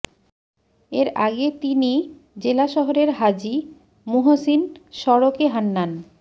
এর আগে তিনি জেলা শহরের হাজী মুহসীন সড়কে হান্নান